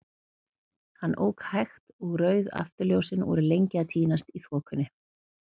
Hann ók hægt, og rauð afturljósin voru lengi að týnast í þokunni.